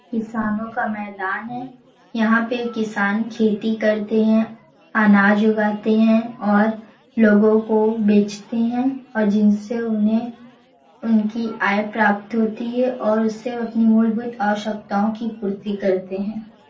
किसानों का मैदान है यहां पे किसान खेती करते हैंअनाज उगाते हैं और लोगो को बेचते हैं और जिनसे उन्हें उनकी आय प्राप्त होती है और उससे वो अपनी मूलभूत आवश्यकतों की पूर्ति करते हैं|